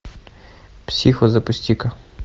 психо запусти ка